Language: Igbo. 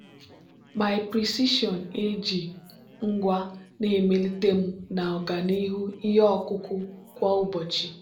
my precision ag ngwa na-emelite m na ọganihu ihe ọkụkụ kwa ụbọchị.